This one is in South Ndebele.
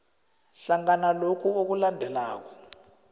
hlangana lokhu okulandelako